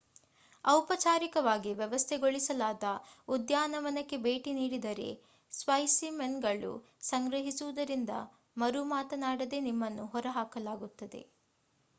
ಔಪಚಾರಿಕವಾಗಿ ವ್ಯವಸ್ಥೆಗೊಳಿಸಲಾದ ಉದ್ಯಾನವನಕ್ಕೆ ಭೇಟಿ ನೀಡಿದರೆ ಸ್ಪೈಸಿಮೆನ್‌ಗಳನ್ನು ಸಂಗ್ರಹಿಸುವುದರಿಂದ ಮರುಮಾತನಾಡದೇ ನಿಮ್ಮನ್ನು ಹೊರಹಾಕಲಾಗುತ್ತದೆ